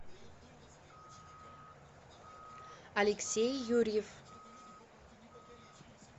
алексей юрьев